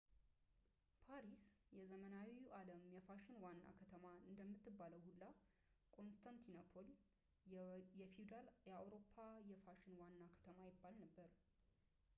ፓሪስ የዘመናዊው ዓለም የፋሽን ዋና ከተማ እንደምትባለው ሁላ ኮንስታንቲኖፕል የፊውዳል አውሮፓ የፋሽን ዋና ከተማ ይባል ነበር